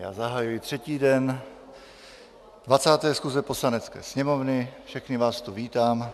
Já zahajuji třetí den 20. schůze Poslanecké sněmovny, všechny vás tu vítám.